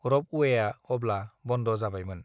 रपअवेआ अब्ला बन्द जाबायमोन